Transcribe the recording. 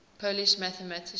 polish mathematicians